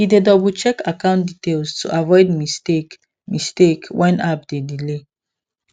he dey doublecheck account details to avoid mistake mistake when app dey delay